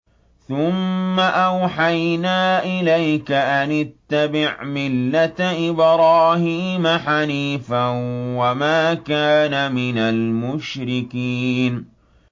ثُمَّ أَوْحَيْنَا إِلَيْكَ أَنِ اتَّبِعْ مِلَّةَ إِبْرَاهِيمَ حَنِيفًا ۖ وَمَا كَانَ مِنَ الْمُشْرِكِينَ